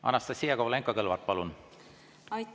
Anastassia Kovalenko‑Kõlvart, palun!